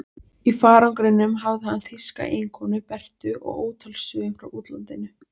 Í farangrinum hafði hann þýska eiginkonu, Berthu, og ótal sögur frá útlandinu.